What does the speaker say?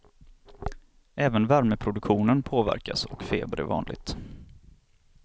Även värmeproduktionen påverkas och feber är vanligt.